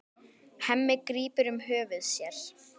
Hemmi grípur um höfuð sér.